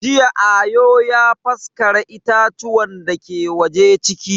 Jiya Ayo ya faskara itatuwan dake waje ciki.